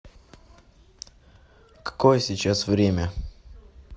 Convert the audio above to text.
какое сейчас время